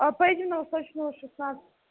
а поедем на восточную шестнадцать